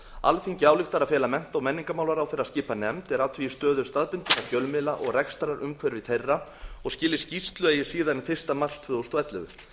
alþingi ályktar að fela mennta og menningarmálaráðherra að skipa nefnd er athugi stöðu staðbundinna fjölmiðla og rekstrarumhverfi þeirra og skili skýrslu eigi síðar en fyrsta mars tvö þúsund og ellefu